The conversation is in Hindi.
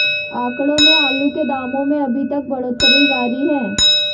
आंकड़ों में आलू के दामों में अभी तक बढ़ोतरी जारी है